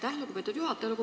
Aitäh, lugupeetud juhataja!